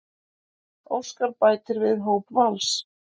Óskar bætir við hóp Vals